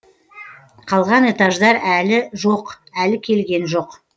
қалған этаждар әлі жоқ әлі келген жоқ